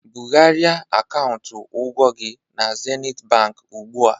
Bugharịa akaụntụ ụgwọ gị na Zenit Bank ugbu a!